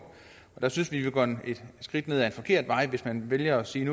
og der synes vi at man et skridt ned ad en forkert vej hvis man vælger at sige